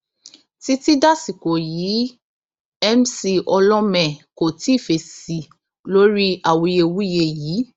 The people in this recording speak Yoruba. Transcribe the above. títí dasìkò yìí mc olhomme kò tí ì fèsì lórí awuyewuye yìí